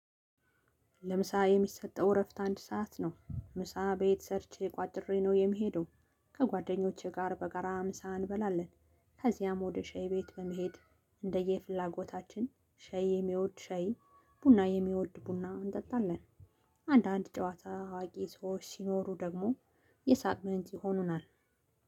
ለምሳ የሚሰጠው እረፍት አንድ ሰዓት ነው ምሳ ቤት ሰርቼ ቋጥሬ ነው የምሄደው። ከጓደኞቼ ጋር በጋራ ምሳ እንበላለን። ከዚያም ወደ ሻይ ቤት በመሄድ እንደየፍላጎታችን ሸይ የሚወድ ሸይ ቡና የሚወድ ቡና እንጠጣለን። አንዳንድ ጨዋታ አዋቂ ሰዎች ሲኖሩ ደግሞ የሳቅ ምንጭ ይሆኑናል።